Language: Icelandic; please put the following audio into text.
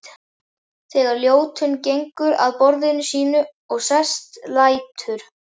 Þegar Ljótunn gengur að borðinu sínu og sest lætur